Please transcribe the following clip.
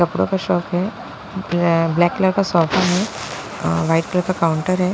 कपड़ों का शॉप है अ ब्लैक कलर का सोफा है अ वाइट कलर का काउंटर है।